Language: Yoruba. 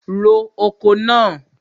Ro oko náà!